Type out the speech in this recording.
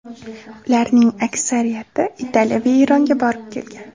Ularning aksariyati Italiya va Eronga borib kelgan.